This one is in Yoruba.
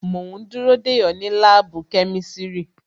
Mo ń dúró dè ọ́ ní láàbù kẹ́mísírì